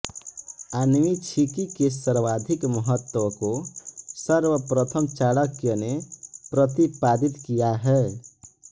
आन्वीक्षिकी के सर्वाधिक महत्व को सर्वप्रथम चाणक्य ने प्रतिपादित किया है